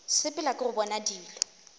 sepela ke go bona dilo